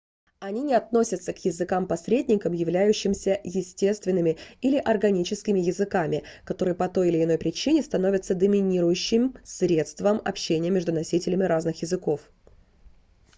они не относятся к языкам-посредникам являющимся естественными или органическими языками которые по той или иной причине становятся доминирующим средством общения между носителями разных языков